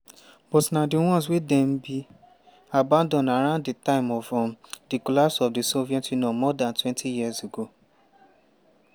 but na di ones wey dem bin abandon around di time of um di collapse of di soviet union more dantwentyyears ago.